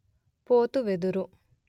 పోతు వెదురు